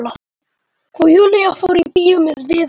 Og Júlía fór í bíó með Viðari.